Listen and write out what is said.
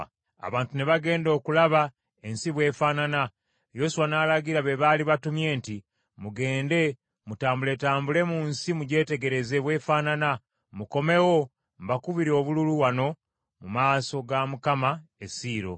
Abantu ne bagenda okulaba ensi bw’efaanana, Yoswa n’alagira be baali batumye nti, “Mugende mutambuletambule mu nsi mugyetegereze bw’efaanana, mukomewo mbakubire obululu wano mu maaso ga Mukama e Siiro.”